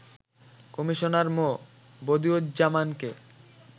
Commissioner মো. বদিউজ্জামানকে